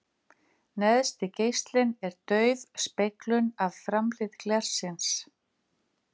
Neðsti geislinn er dauf speglun af framhlið glersins.